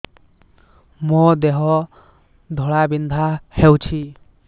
ମୋ ଦେହ ଘୋଳାବିନ୍ଧା ହେଉଛି